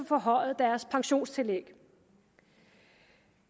forhøjet deres pensionstillæg